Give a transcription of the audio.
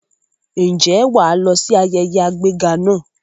Ǹjẹ́ wà á lọ sí ayẹyẹ àgbéga náà?